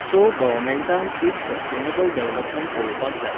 So गवमँटान एक sustainable development पळोवपाक जाय.